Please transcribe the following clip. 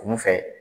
Kun fɛ